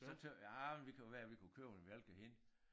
Så tøt jeg ah men det kunne være vi kunne købe en mælk af hende